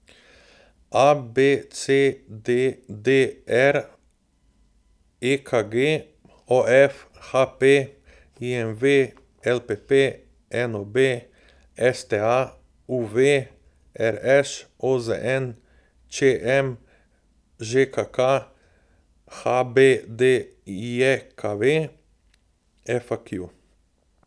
A B C; D D R; E K G; O F; H P; I M V; L P P; N O B; S T A; U V; R Š; O Z N; Č M; Ž K K; H B D J K V; F A Q.